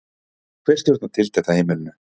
Hver stjórnar tiltekt á heimilinu?